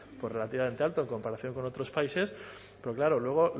relativamente alto en comparación con otros países pero claro luego